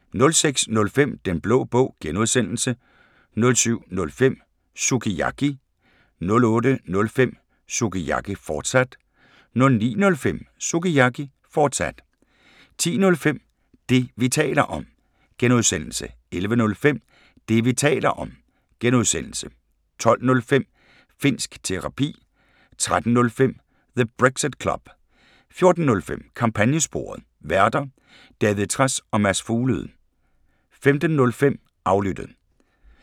06:05: Den Blå Bog (G) 07:05: Sukiyaki 08:05: Sukiyaki, fortsat 09:05: Sukiyaki, fortsat 10:05: Det, vi taler om (G) 11:05: Det, vi taler om (G) 12:05: Finnsk Terapi 13:05: The Brexit Club 14:05: Kampagnesporet: Værter: David Trads og Mads Fuglede 15:05: Aflyttet